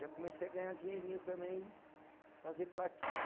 Já comecei a ganhar dinheirinho também, fazer plaquinha.